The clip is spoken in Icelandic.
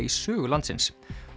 í sögu landsins